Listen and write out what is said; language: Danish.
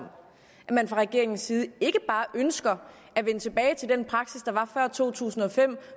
at man fra regeringens side ikke bare ønsker at vende tilbage til den praksis der var før to tusind og fem